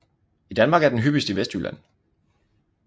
I Danmark er den hyppigst i Vestjylland